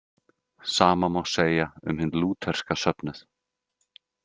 Sama má segja um hinn lútherska söfnuð.